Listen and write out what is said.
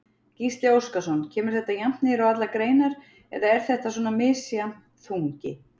Gísli Óskarsson: Kemur þetta jafnt niður á allar greinar eða er þetta svona misjafn þungi?